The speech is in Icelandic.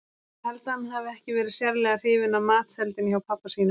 Ég held að hann hafi ekki verið sérlega hrifinn af matseldinni hjá pabba sínum.